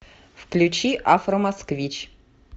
включи афромосквич